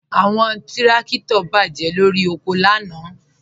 Awọn tìrakito bá jẹ lọ́ri oko lànà.